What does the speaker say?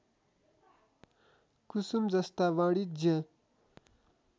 कुसुम जस्ता वाणिज्य